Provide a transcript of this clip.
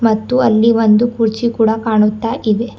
ಮತ್ತು ಅಲ್ಲಿ ಒಂದು ಕುರ್ಚಿ ಕೂಡ ಕಾಣುತ್ತಾ ಇದೆ.